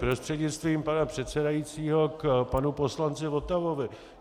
Prostřednictvím pana předsedajícího k panu poslanci Votavovi.